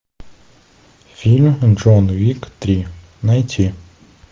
фильм джон уик три найти